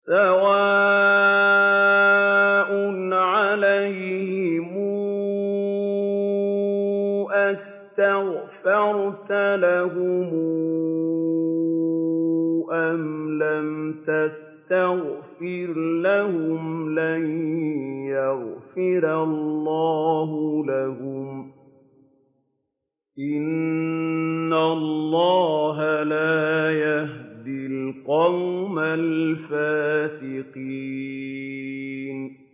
سَوَاءٌ عَلَيْهِمْ أَسْتَغْفَرْتَ لَهُمْ أَمْ لَمْ تَسْتَغْفِرْ لَهُمْ لَن يَغْفِرَ اللَّهُ لَهُمْ ۚ إِنَّ اللَّهَ لَا يَهْدِي الْقَوْمَ الْفَاسِقِينَ